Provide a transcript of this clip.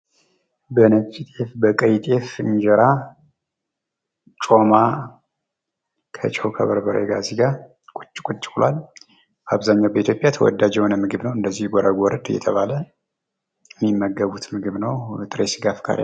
በነጭ ጤፍ ፣በቀይ ጤፍ እንጀራ ጮማ ከጨው ከበርበሬ ጋር እዚጋ ቁጭ ቁጭ ብሏል። አብዛኛው በኢትዮጵያ ተወዳጅ የሆነ ምግብ ነው። እንደዚሁ ጎረድ ጎረድ እየተባለ የሚመገቡት ምግብ ነው። የጥሬ ስጋ አፍቃሪያን...